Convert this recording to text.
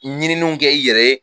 Ɲininuw kɛ i yɛrɛ ye